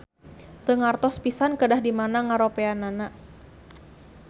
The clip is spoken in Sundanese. Teu ngartos pisan kedah di mana ngaropeana